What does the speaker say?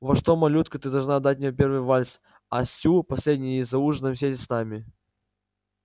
вот что малютка ты должна отдать мне первый вальс а стю последний и за ужином сесть с нами